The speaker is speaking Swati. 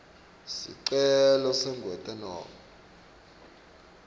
sicelo sekwengetwa nobe